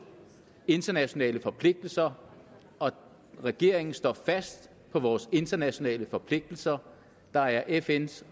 internationale forpligtelser og regeringen står fast på vores internationale forpligtelser der er fn’s